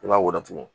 I b'a wɔɔrɔ tugun